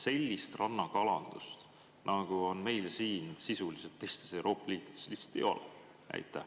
Sellist rannakalandust, nagu on meil siin, teistes Euroopa riikides sisuliselt lihtsalt ei ole.